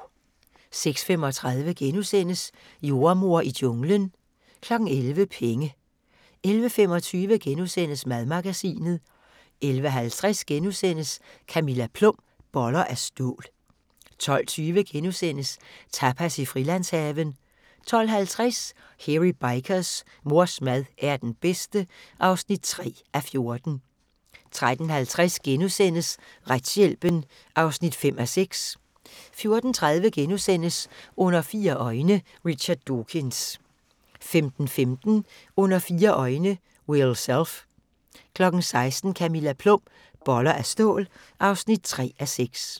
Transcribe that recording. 06:35: Jordemoder i junglen * 11:00: Penge 11:25: Madmagasinet * 11:50: Camilla Plum – Boller af stål (2:6)* 12:20: Tapas i Frilandshaven * 12:50: Hairy Bikers: Mors mad er den bedste (3:14) 13:50: Retshjælpen (5:6)* 14:30: Under fire øjne – Richard Dawkins * 15:15: Under fire øjne – Will Self 16:00: Camilla Plum – Boller af stål (3:6)